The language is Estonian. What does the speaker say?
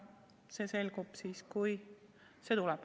See selgub siis, kui see tuleb.